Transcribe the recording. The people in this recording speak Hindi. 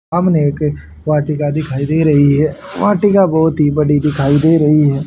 सामने एक वाटिका दिखाई दे रही है वाटिका बहोत ही बड़ी दिखाई दे रही है।